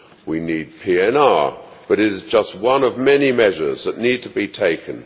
We need PNR, but it is just one of many measures that need to be taken.